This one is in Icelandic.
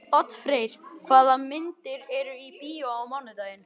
Oddfreyr, hvaða myndir eru í bíó á mánudaginn?